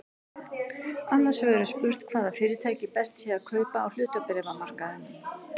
Annars vegar er spurt hvaða fyrirtæki best sé að kaupa á hlutabréfamarkaðinum.